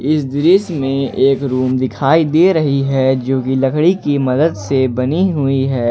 इस दृश्य में एक रूम दिखाई दे रही हैं जो कि लकड़ी की मदद से बनी हुई है।